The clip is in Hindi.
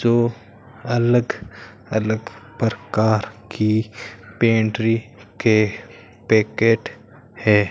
जो अलग अलग प्रकार की पेंट्री के पैकेट है।